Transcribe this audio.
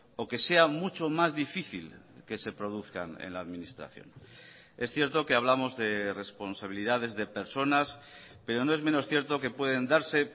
o que sea mucho más difícil que se produzcan en la administración es cierto que hablamos de responsabilidades de personas pero no es menos cierto que pueden darse